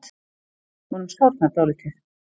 Honum sárnar dálítið.